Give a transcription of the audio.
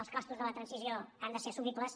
els costos de la transició han de ser assumibles